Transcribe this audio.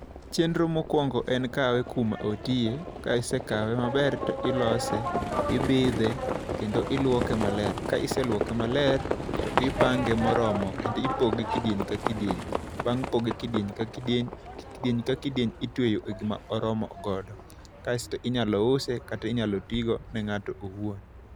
Chenro mokwongo en kawe kuma otiye. Ka isekawe maber to ilose, ibidhe kendo iluoke maler. Ka iseluoke maler to ipange moromo kendo iponde kidieny ka kidieny. Bang' poge kidieny ka kidieny, kidieny ka kidieny itweyo e gima oromo godo. Kaesto inyalo use kata inyalo tigo ne ng'ato owuon.